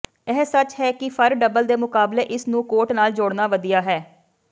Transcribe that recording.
ਇਹ ਸੱਚ ਹੈ ਕਿ ਫਰ ਡਬਲ ਦੇ ਮੁਕਾਬਲੇ ਇਸ ਨੂੰ ਕੋਟ ਨਾਲ ਜੋੜਨਾ ਵਧੀਆ ਹੈ